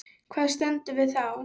Hvar stöndum við þá?